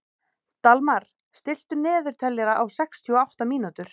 Dalmar, stilltu niðurteljara á sextíu og átta mínútur.